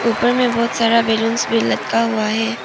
ऊपर में बहोत सारा बैलूंस भी लटका हुआ है।